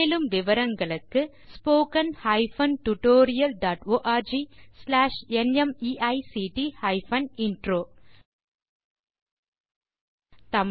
மேலும் விவரங்களுக்கு spoken hyphen tutorial dot org slash NMEICT hyphen intro மூல பாடம் தேசி க்ரூ சொலூஷன்ஸ்